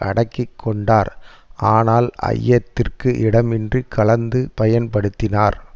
அடக்கிக்கொண்டார் ஆனால் ஐயத்திற்கு இடமின்றி கலந்து பயன்படுத்தினார்